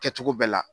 Kɛcogo bɛɛ la